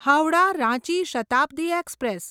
Howrah Ranchi Shatabdi express